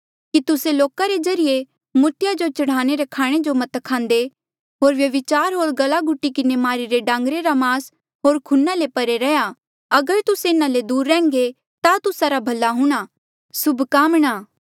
कि तुस्से लोका रे ज्रीए मूर्तिया जो चढ़ाई रे खाणे जो मत खांदे होर व्यभिचार होर गला घुटी किन्हें मारिरे डांगरे रा मास होर खूना ले परे रैहया अगर तुस्से इन्हा ले दूर रैंह्णां ता तुस्सा रा भला हूंणां सुभकामणां